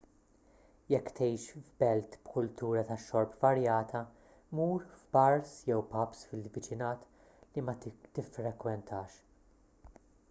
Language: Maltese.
jekk tgħix f'belt b'kultura tax-xorb varjata mur f'bars jew pubs fil-viċinat li ma tiffrekwentax